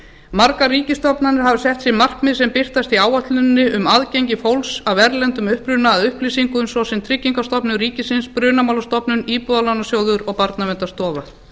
margar ríkisstofnanir hafa sett sér markmið sem birtast í áætluninni um aðgengi fólks af erlendum uppruna að upplýsingum svo sem tryggingastofnun ríkisins brunamálastofnun íbúðalánasjóður og barnaverndarstofa